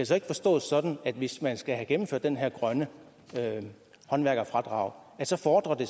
så ikke forstås sådan at hvis man skal have gennemført det her grønne håndværkerfradrag så fordrer det